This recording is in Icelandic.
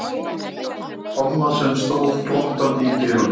Tomma sem stóð glottandi í dyrunum.